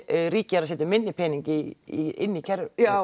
ríkið er að setja minni pening í inn í kerfið